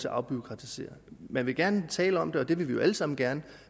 afbureaukratisere man vil gerne tale om det det vil vi jo alle sammen gerne